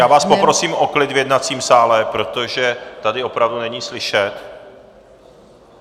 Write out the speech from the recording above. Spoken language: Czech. Já vás poprosím o klid v jednacím sále, protože tady opravdu není slyšet.